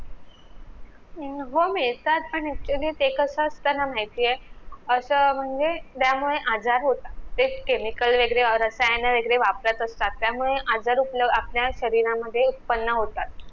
हो मिळतात पण ते कस अस्त ना माहितीये अस म्हणजे त्यामुळे आजार होतात तेच chemival वैगरे वापरत असतात त्यामुळे आपल्या शरीरामध्ये उत्पन्न होतात